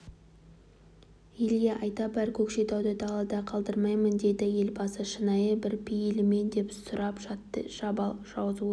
елге айта бар көкшетауды далада қалдырмаймын деді елбасы шынайы бір пейілмен деп сұрап жатты жабал жазушы